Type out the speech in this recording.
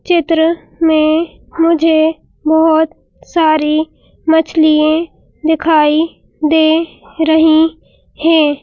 चित्र में मुझे बहुत सारी मछलिये दिखाई दे रही हैं।